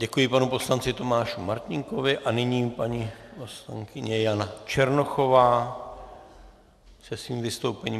Děkuji panu poslanci Tomášovi Martínkovi a nyní paní poslankyně Jana Černochová se svým vystoupením.